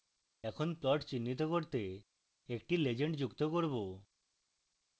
এখন plots চিহ্নিত করতে একটি legend যুক্ত করব